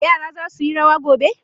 Yara za su yi rawa gobe?